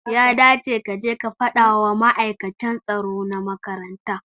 Ya dace kace ka fadawa ma'aikata tsaro na makaranta